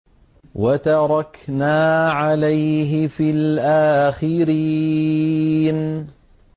وَتَرَكْنَا عَلَيْهِ فِي الْآخِرِينَ